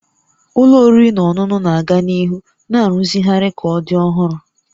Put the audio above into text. Ụlọ oriri na ọṅụṅụ na-aga n'ihu na-arụzigharị ka ọ dị ọhụrụ